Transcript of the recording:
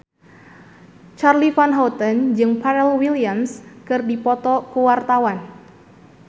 Charly Van Houten jeung Pharrell Williams keur dipoto ku wartawan